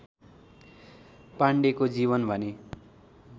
पाण्डेको जीवन भने